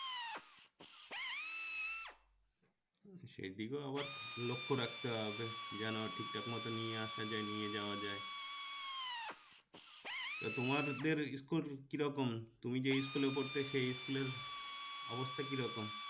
সেদিকেও আবার লক্ষ্য রাখতে হবে যেন ঠিকঠাক মতো নিয়ে আসা যায় নিয়ে যাওয়া যায় তা তোমাদের school কি রকম তুমি যে school এ পড়তে সেই school এর অবস্থা কিরকম